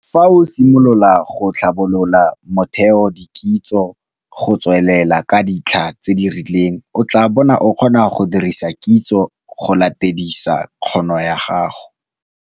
Fa o simolola go tlhabolola motheodikitso go tswelela ka ditlha tse di rileng o tla bo o kgona go dirisa kitso go latedisa kgono ya gago.